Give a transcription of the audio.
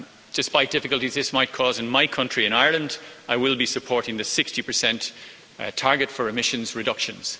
Despite the difficulties this might cause in my country, in Ireland, I will be supporting the 60 target for emissions reductions.